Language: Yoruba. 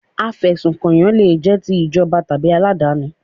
Afẹ̀sùnkànyàn le jẹ́ ti ìjọba tàbí aládàáni.